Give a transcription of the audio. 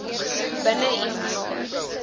binne een jaar